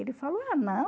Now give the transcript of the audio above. Ele falou, ah,